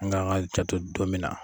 An k'a kan janto dɔ min na.